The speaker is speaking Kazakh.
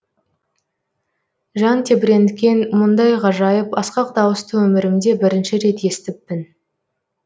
жан тебіренткен мұндай ғажайып асқақ дауысты өмірімде бірінші рет естіппін